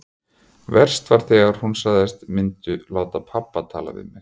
Verst var þegar hún sagðist myndu láta pabba tala við mig.